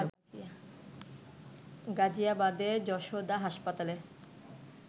গাজিয়াবাদের যশোদা হাসপাতালে